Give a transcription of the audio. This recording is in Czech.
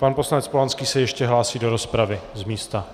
Pan poslanec Polanský se ještě hlásí do rozpravy z místa.